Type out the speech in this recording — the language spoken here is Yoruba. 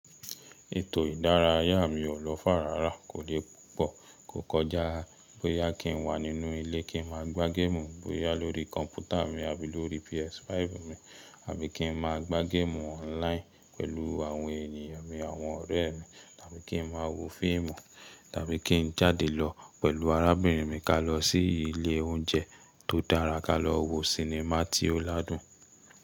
Ètò ìdárayá mi ò lọ far rárá kò dẹ̀ pọ̀, kò kọjá bóyá kí n wà nínú ilé kí n máa gbá géèmù, bóyá lórí kọ̀ǹpútà mi àbí lórí PS5 mi, àbí kí n máa gbá géèmù online pẹ̀lú àwọn ènìyàn mi àwọn ọ̀rẹ́ mi, tàbí kí n máa wo fíìmù, tàbí kí n jáde lọ pẹ̀lú arábìnrin mi ká lọ sí ilé oúnjẹ tó dára ká lọ wo sinimá tí ó ládùn.